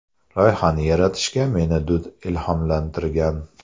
Loyihani yaratishga meni Dud ilhomlantirgan.